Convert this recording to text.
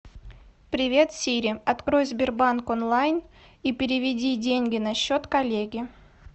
привет сири открой сбербанк онлайн и переведи деньги на счет коллеги